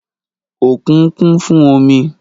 òkun kún fún omi